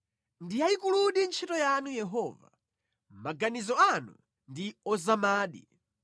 Ndi yayikuludi ntchito yanu Yehova, maganizo anu ndi ozamadi!